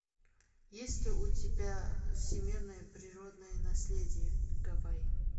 есть ли у тебя всемирное природное наследие гавайи